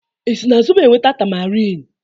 esi na zobo e nweta tamarin?